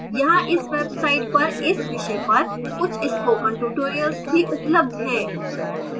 यहाँ इस website पर इस विषय पर कुछ spoken tutorials भी उपलब्ध हैं